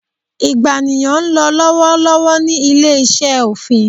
ìgbàniyàn n lọ lọwọlọwọ ni ile-iṣẹ ofin